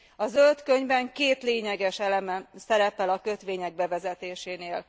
A zöld könyvben két lényeges elem szerepel a kötvények bevezetésénél.